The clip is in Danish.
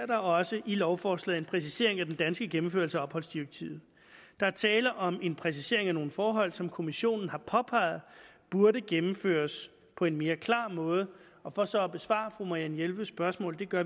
der også i lovforslaget præcisering af den danske gennemførelse af opholdsdirektivet der er tale om en præcisering af nogle forhold som kommissionen har påpeget burde gennemføres på en mere klar måde og for så at besvare fru marianne jelveds spørgsmål og det gør